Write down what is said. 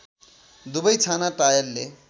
दुबै छाना टायलले